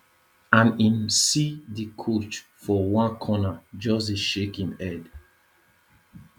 and im see di coach for one corner just dey shake im head